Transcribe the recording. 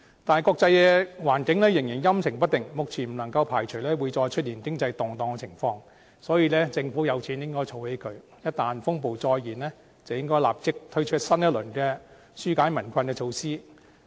但是，國際環境仍然陰晴不定，目前不能夠排除會再出現經濟動盪的情況，所以政府有錢便應該儲起來，一旦風暴再現，應該立即推出新一輪紓解民困的措施。